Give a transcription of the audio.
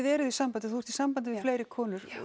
eruð í sambandi þú ert í sambandi við fleiri konur